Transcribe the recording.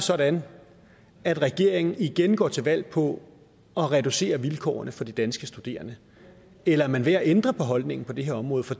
sådan at regeringen igen går til valg på at reducere vilkårene for de danske studerende eller er man ved at ændre holdning på det her område for